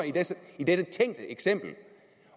i dette tænkte eksempel